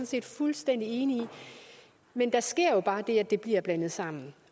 set fuldstændig enig i men der sker jo bare det at det bliver blandet sammen